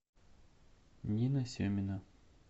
нина семина